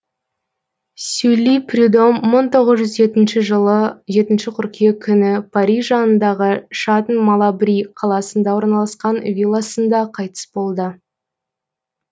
сюлли прюдом мың тоғыз жүз жетінші жылы жетінші қыркүйек күні париж жанындағы шатн малабри қаласында орналасқан вилласында қайтыс болады